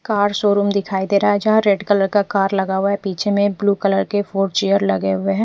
Car showroom दिखाई दे रहा है जहा रेड कलर का कार लगा हुआ है पीछे में एक ब्लू कलर के फोर चेयर लगे हुए है।